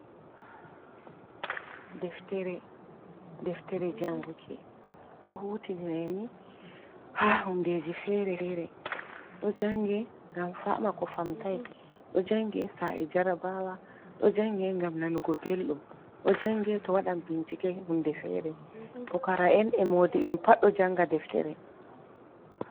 Deftere janguki ɗo hutirine ni ha hundeji fere fere, ɗo jange ngam fama ko famtina, ɗo jange sa’i jarabawa, ɗo jange ngam nanugo beldum, ɗo jange to waɗan bincike hunde fere, pukara'en e modibe pad doe janga deftere.